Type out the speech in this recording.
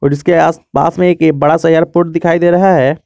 और इसके आसपास में एक बड़ा सा एयरपोर्ट दिखाई दे रहा है।